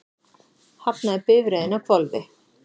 Hafnaði bifreiðin á hvolfi